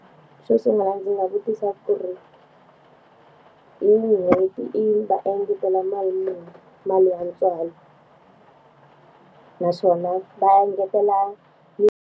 Xo sungula ndzi nga vutisa ku ri, n'hweti va engetela mali muni mali ya ntswalo naswona va engetela .